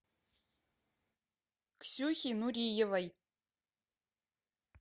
ксюхи нуриевой